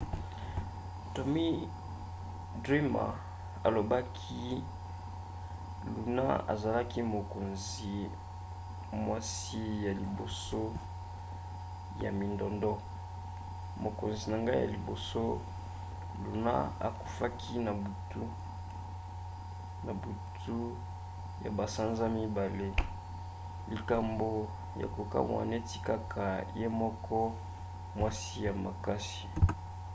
tommy dreamer alobaki luna azalaki mokonzi mwasi ya liboso ya mindondo. mokonzi na ngai ya liboso. luna akufaki na butu ya basanza mibale. likambo ya kokamwa neti kaka ye moko. mwasi ya makasi.